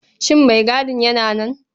Shin maigadin yana nan?